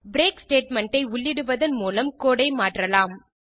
break statement ஐ உள்ளிடுவதன் மூலம் கோடு ஐ மாற்றலாம்